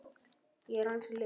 Ég er ansi liðug!